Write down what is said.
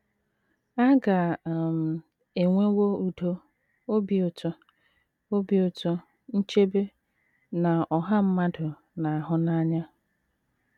A ga um - enwewo udo, obi ụtọ, obi ụtọ, nchebe, na ọha mmadụ na - ahụ n’anya.